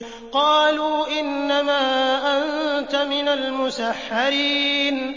قَالُوا إِنَّمَا أَنتَ مِنَ الْمُسَحَّرِينَ